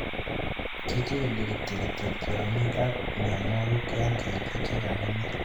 Kichikili kityok kityok tiongik ak mionwokik en ketik chegimine